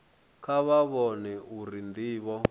kha vha vhone uri ndivho